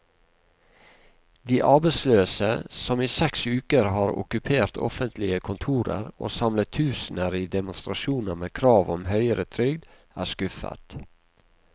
De arbeidsløse, som i seks uker har okkupert offentlige kontorer og samlet tusener i demonstrasjoner med krav om høyere trygd, er skuffet.